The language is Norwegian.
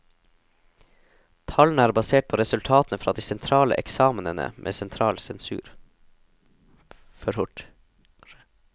Tallene er basert på resultatene fra de sentrale eksamenene med sentral sensur.